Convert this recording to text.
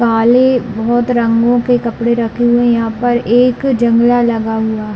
काले बहोत रंगो के कपड़े रखे हुए है यहाँ पर एक जंगला लगा हुआ है।